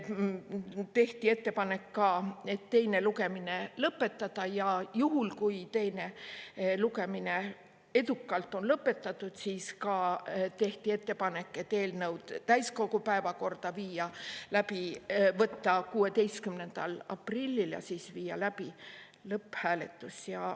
Tehti ka ettepanek teine lugemine lõpetada ja juhul, kui teine lugemine on edukalt lõpetatud, siis võtta eelnõu täiskogu päevakorda 16. aprillil ja viia läbi lõpphääletus.